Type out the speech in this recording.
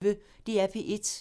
DR P1